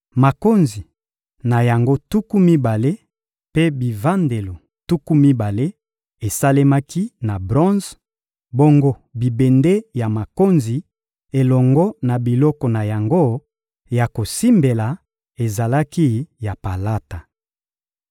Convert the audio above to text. Makonzi na yango tuku mibale mpe bivandelo tuku mibale esalemaki na bronze; bongo bibende ya makonzi elongo na biloko na yango ya kosimbela ezalaki ya palata.